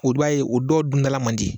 O dɔ ye o dɔw dundala man di